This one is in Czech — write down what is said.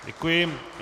Děkuji.